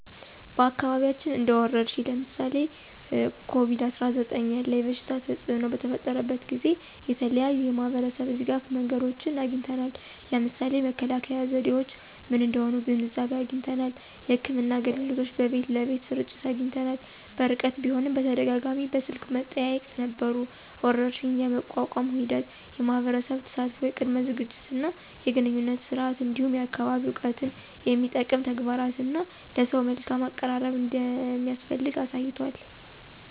በአካባቢያችን እንደ ወረርሽኝ (ለምሳሌ ኮቪድ-19) ያለ የበሽታ ተፅእኖ በተፈጠረበት ጊዜ የተለያዩ የማህበረሰብ ድጋፍ መንገዶችን አግኝተናል። ለምሳሌ መከላከያ ዘዴዎች ምን እንደሆኑ ግንዛቤ አግኝተናል። የሕክምና አገልግሎቶች በቤት ለቤት ስርጭት አግኝተናል። በርቀት ቢሆንም በተደጋጋሚ በስልክ መጠያየቅ ነበሩ። ወረርሽኝን የመቋቋም ሂደት የማህበረሰብ ተሳትፎ፣ የቅድመ ዝግጅት እና የግንኙነት ስርዓት፣ እንዲሁም የአካባቢ እውቀትን የሚጠቅም ተግባራት እና ለሰው መልካም አቀራረብ እንደሚያስፈልግ አሳይቷል።